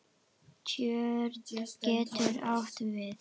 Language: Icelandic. Tjörn getur átt við